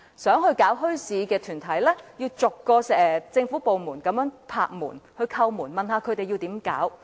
有意設立墟市的團體要逐個政府部門叩門，詢問應怎樣做。